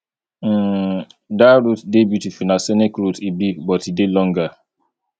um dat route dey beautiful na scenic route e be but e dey longer